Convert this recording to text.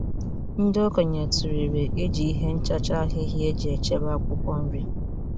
Ndị okenye tụlere iji ihe nchacha ahịhịa eji echebe akwụkwọ nri.